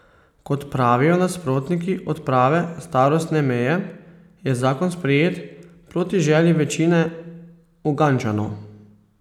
Kot pravijo nasprotniki odprave starostne meje, je zakon sprejet proti želji večine Ugandčanov.